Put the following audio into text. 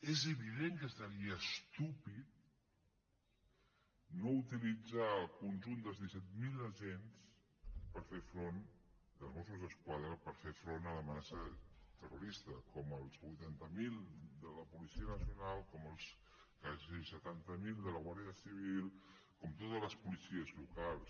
és evident que seria estúpid no utilitzar el conjunt dels disset mil agents dels mossos d’esquadra per fer front a l’amenaça terrorista com els vuitanta mil de la policia nacional com els quasi setanta mil de la guàrdia civil com totes les policies locals